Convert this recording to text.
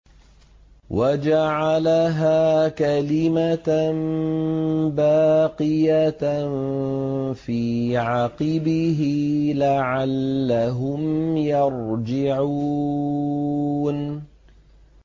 وَجَعَلَهَا كَلِمَةً بَاقِيَةً فِي عَقِبِهِ لَعَلَّهُمْ يَرْجِعُونَ